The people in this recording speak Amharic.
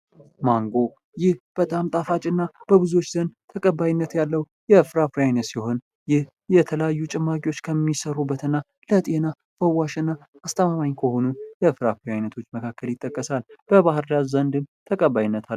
ማንጎ ይህ በጣም ጣፋጭ እና በብዙዎች ዘንድ ተቀባይነት ያለው የፍራፍሬ አይነት ሲሆን ፤ይህ የተለያዩ ጭማቂዎች ከሚሰሩበት እና ለጤና ፈዋሽና አስተማማኝ ከሆኑ የፍራፍሬ አይነቶች መካከል ይጠቀሳል። በባህር ዳር ዘንድም ተቀባይነት አለው።